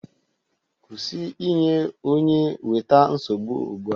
Kwụsị inye onye weta nsogbu ugbu a!